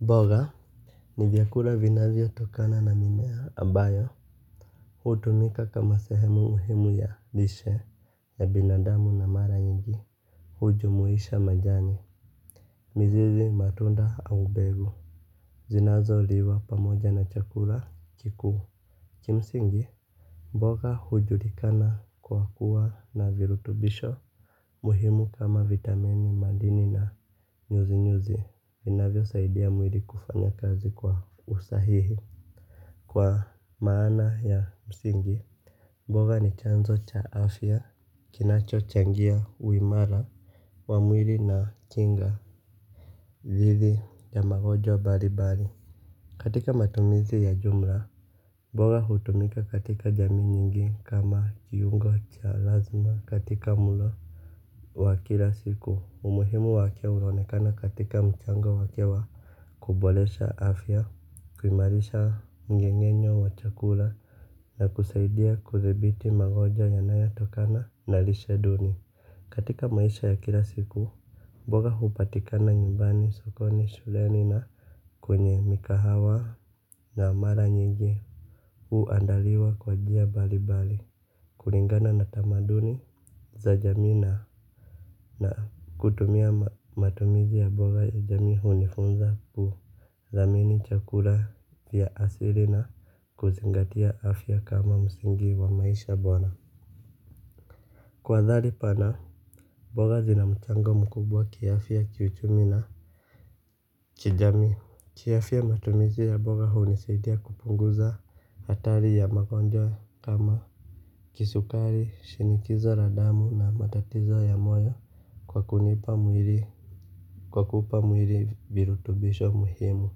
Boga. Ni vyakula vinavyotokana na mimea ambayo hutumika kama sehemu muhimu ya lishe ya binadamu na mara nyingi. Hujumuisha majani mizizi matunda au mbegu zinazoliwa pamoja na chakula kikuu. Kimsingi mboga hujulikana kwa kuwa na virutubisho muhimu kama vitamini madini na nyuzi nyuzi, inavyo saidia mwili kufanya kazi kwa usahihi. Kwa maana ya msingi mboga ni chanzo cha afya, kinacho changia, uimara wa mwili na kinga zidi ya magojwa mbalimbali. Katika matumizi ya jumla mboga hutumika katika jamii nyingi kama kiungo cha lazima katika mlo wa kila siku, umuhimu wake huonekana katika mchango wake wa kuboresha afya, kumairisha mmeng'enyo wa chakula na kusaidia kudhibiti magojwa yanayatokana na lisheduni. Katika maisha ya kila siku, mboga hupatikana nyumbani sokoni shuleni na kwenye migahawa na mara nyingi huandaliwa kwa njia mbalimbali. Kulingana na tamaduni za jamii na na kutumia matumizi ya mboga ya jamii hunifunza kuthamini chakula ya asili na kuzingatia afya kama msingi wa maisha bora. Kwa dhali pana, mboga zina mchango mkubwa kiafya kiuchumi na Kijamii. Kiafya matumizi ya mboga hunisaidia kupunguza hatari ya magonjwa kama kisukari, shinikizo la damu na matatizo ya moyo kwa kunipa mwili lwa kuupa mwili virutubisho muhimu.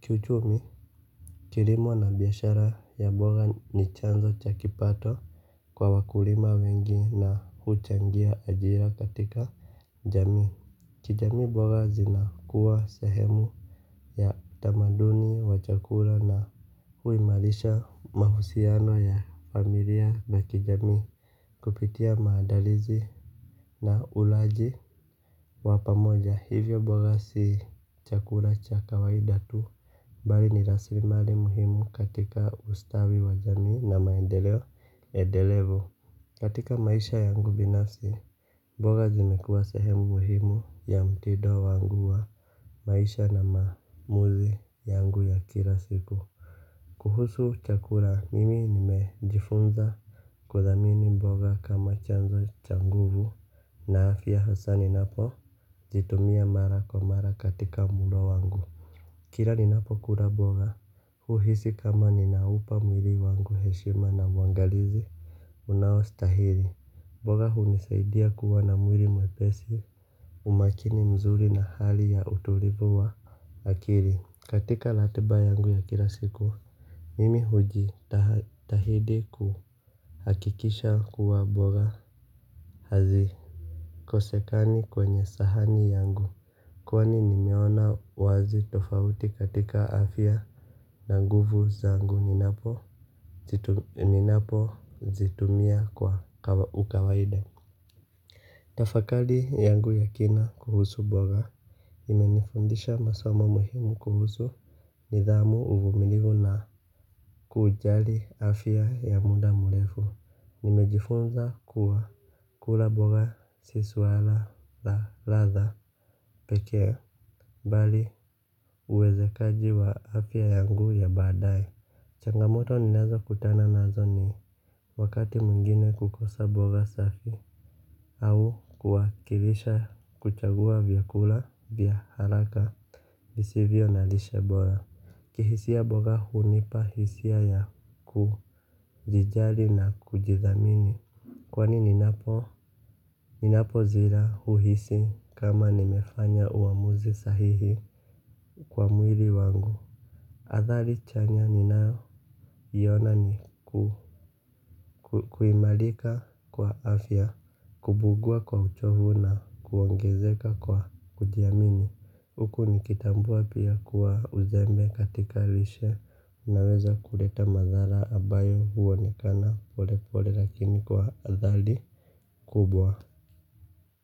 Kiuchumi kilimo na biashara ya mboga ni chanzo cha kipato kwa wakulima wengi na huchangia ajira katika jamii. Kijamii boga zinakuwa sehemu ya tamaduni wa chakula na huimarisha mahusiano ya familia na kijamii. Kupitia maadalizi na ulaji wa pamoja hivyo mboga si chakula cha kawaida tu bali ni rasimali muhimu katika ustawi wa jamii na maendeleo endelevu. Katika maisha yangu binafsi, mboga zimekuwa sehemu muhimu ya mtindo wangu wa maisha na maamuzi yangu ya kila siku. Kuhusu chakula, mimi nimejifunza kuthamini mboga kama chanzo cha nguvu na afya hususani napojitumia mara kwa mara katika mlo wangu. Kila ninapokula mboga huhisi kama ninaupa mwilii wangu heshima na mwangalizi unaostahili mboga hunisaidia kuwa na mwili mwepesi umakini mzuri na hali ya utulivu wa akili. Katika ratiiba yangu ya kila siku. Mimi hujitahidi kuhakikisha kuwa mboga hazikosekani kwenye sahani yangu. Kwani ni meona wazi tofauti katika afya na nguvu zangu ninapozitumia kwa ukawaida. Tafakari yangu ya kina kuhusu mboga imenifundisha masomo muhimu kuhusu nidhamu uvumilivu na kujali afya ya muda murefu. Nimejifunza kuwa kula mboga si suala la ladha pekee bali uwezekaji wa afya yangu ya baadae. Changamoto ninazokutana nazo ni wakati mwingine kukosa mboga safi au kuwakilisha kuchagua vyakula vya haraka visivyo na lishe bora. Kihisia mboga hunipa hisia ya kujijali na kujithamini. Kwani ninapozila huhisi kama nimefanya uamuzi sahihi kwa mwili wangu. Athari chanya ninayoiona ni kuimarika kwa afya, kupungua kwa uchovu na kuongezeka kwa kujiamini. Huku nikitambua pia kuwa uzembe katika lishe unaweza kuleta madhara ambayo huonekana pole pole lakini kwa athari kubwa.